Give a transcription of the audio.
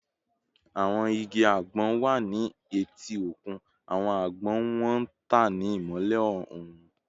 Awọn igi agbon wa ni eti okun, awọn agbon wọn n tan ni imọlẹ oorun